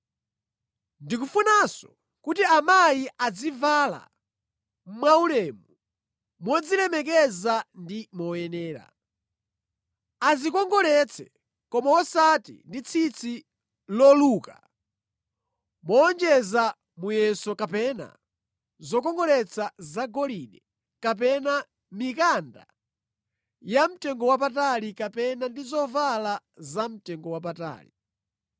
Ndikufunanso kuti amayi azivala mwaulemu, modzilemekeza ndi moyenera. Adzikongoletse koma osati ndi tsitsi loluka mowonjeza muyeso kapena zokongoletsa zagolide kapena mikanda yamtengowapatali kapena ndi zovala zamtengowapatali.